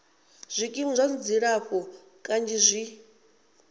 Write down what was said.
zwikimu zwa dzilafho kanzhi zwi